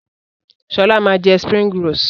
Sọlá máa jẹ "springrolls".